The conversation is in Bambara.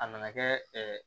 A nana kɛ